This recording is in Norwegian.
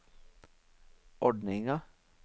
ordninga